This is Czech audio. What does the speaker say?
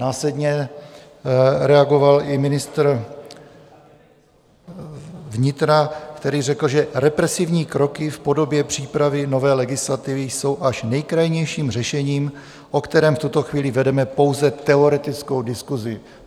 Následně reagoval i ministr vnitra, který řekl, že represivní kroky v podobě přípravy nové legislativy jsou až nejkrajnějším řešením, o kterém v tuto chvíli vedeme pouze teoretickou diskusi.